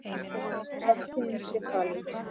Þó að framtíð sé falin,